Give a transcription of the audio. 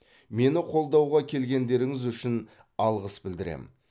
мені қолдауға келгендеріңіз үшін алғыс білдірем